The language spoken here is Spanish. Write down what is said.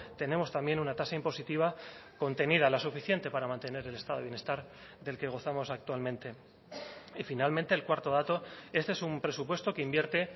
tenemos también una tasa impositiva contenida la suficiente para mantener el estado de bienestar del que gozamos actualmente y finalmente el cuarto dato este es un presupuesto que invierte